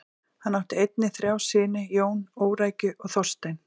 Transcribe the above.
Hann átt einnig þrjá syni: Jón, Órækju og Þorstein.